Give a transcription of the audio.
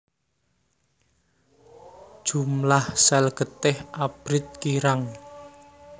Jumlah sel getih abrit kirang